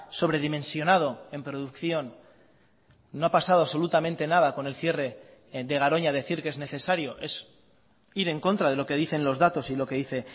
sobredimensionado en producción no ha pasado absolutamente nada con el cierre de garoña decir que es necesario es ir en contra de lo que dicen los datos y lo que dice